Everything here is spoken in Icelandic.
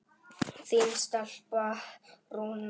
Þín stelpa, Rúna.